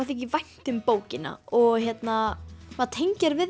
þykir vænt um bókina og maður tengir við